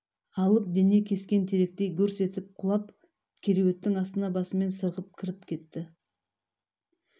алып дене кескен теректей гүрс етіп құлап кереуеттің астына басымен сырғып кіріп кетті